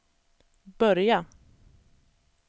börja